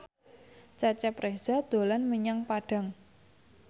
Cecep Reza dolan menyang Padang